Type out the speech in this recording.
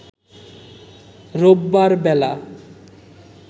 রোববার বেলা